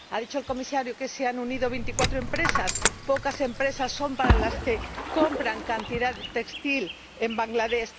Ha dicho el Comisario que se han unido veinticuatro empresas pocas empresas frente a las que compran tales cantidades de textiles en Bangladés.